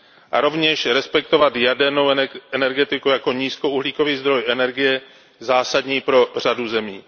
A rovněž respektovat jadernou energetiku jako nízkouhlíkový zdroj energie zásadní pro řadu zemí.